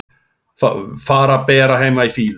Fara bara heim í fýlu?